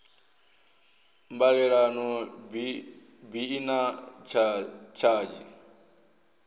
mbalelano bi i na tshadzhi